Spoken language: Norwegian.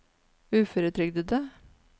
uføretrygdede